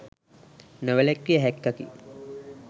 නොවැළක්විය හැක්කකි